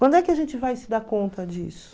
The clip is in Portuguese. Quando é que a gente vai se dar conta disso?